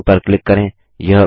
drawing पर click करें